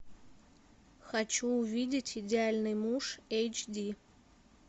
хочу увидеть идеальный муж эч ди